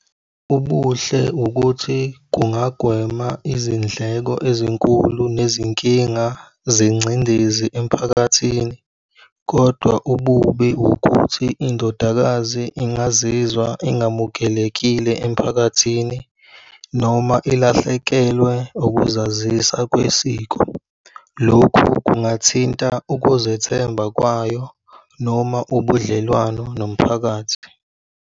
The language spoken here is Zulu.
Ubuhle ukuthi kungagwema izindleko ezinkulu nezinkinga zengcindezi emphakathini. Kodwa ububi ukuthi indodakazi ingazizwa ingamukelekile emiphakathini noma ilahlekelwe ukuzazisa kwesiko. Lokhu kungathinta ukuzethemba kwayo noma ubudlelwano nomphakathi.